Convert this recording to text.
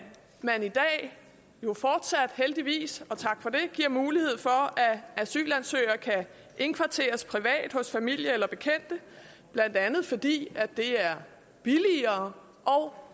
man i dag jo fortsat heldigvis og tak for det giver mulighed for at asylansøgere kan indkvarteres privat hos familie eller bekendte blandt andet fordi det er billigere og